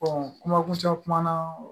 kuma kuncɛ kuma na